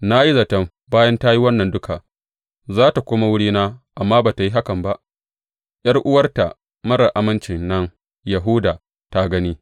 Na yi zaton bayan ta yi wannan duka, za tă komo wurina amma ba tă yi haka ba, ’yar’uwarta marar aminci nan Yahuda ta gani.